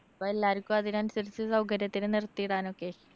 അപ്പൊ എല്ലാര്‍ക്കും അതിനനുസരിച്ച് സൗകര്യത്തിന് നിര്‍ത്തിടാനൊക്കെ.